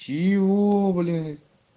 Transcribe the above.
чего блять